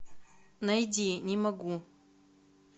найди не могу